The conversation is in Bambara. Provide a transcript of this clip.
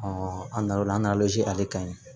an na na o la an nana ale ka ye